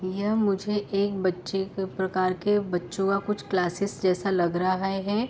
यह मुझे एक बच्चे के प्रकार के बच्चों का कुछ क्लासेस जैसा लग रहा है।